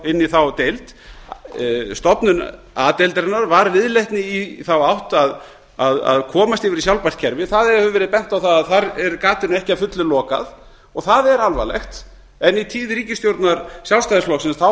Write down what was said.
inn í þá deild stofnun a deildarinnar var viðleitni í þá átt að komast yfir í sjálfbært kerfi það hefur verið bent á það að þar er gatinu ekki að fullu lokað og það er alvarlegt í tíð ríkisstjórnar sjálfstæðisflokksins